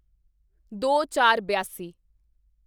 ਦੋਚਾਰਬਿਆਸੀ